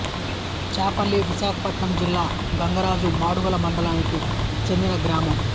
చెపల్లి విశాఖపట్నం జిల్లా గంగరాజు మాడుగుల మండలానికి చెందిన గ్రామం